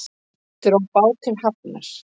Dró bát til hafnar